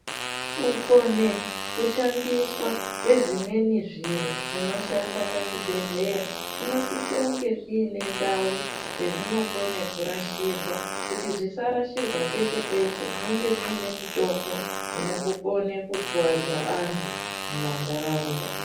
kukone kushandiswa kwezvimweni zviro zvinoshanda pachibhedhleya. Kunosisonge kuine ndau dzezvinokone kurashirwa kuti zvisarashirwa peshe-peshe, zvinonge zviine mitombo inokukone kukuvadza antu mumantaraunda.